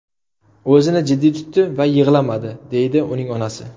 O‘zini jiddiy tutdi va yig‘lamadi”, − deydi uning onasi.